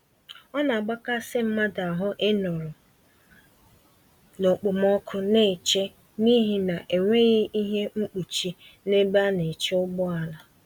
Ọnagbakasị mmadụ ahụ ịnọrọ na okpomọkụ n'eche n'ihi enweghị ihe mkpuchi, n'ebe ana-eche ụgbọala